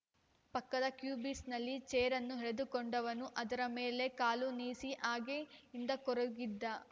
ಪಕ್ಕದ ಕ್ಯೂಬಿಸ್ ಕಲ್ಲಿನಿಂದ ಚೇರನ್ನು ಎಳಕೊಂಡವನು ಅದರ ಮೇಲೆ ಕಾಲು ನೀಸಿ ಹಾಗೆ ಹಿಂದಕ್ಕೊರಗಿದ